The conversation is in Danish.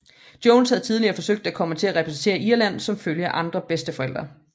Jones havde tidligere forsøgt at komme til at repræsentere Irland som følge af andre bedsteforældre